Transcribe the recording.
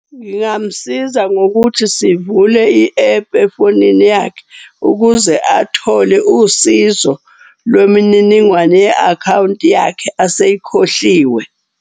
Ngingamsiza ngokuthi sivule i-app efonini yakhe ukuze athole usizo lwemininingwane ye-akhawunti yakhe aseyikhohliwe.